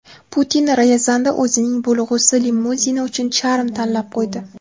Putin Ryazanda o‘zining bo‘lg‘usi limuzini uchun charm tanlab qo‘ydi.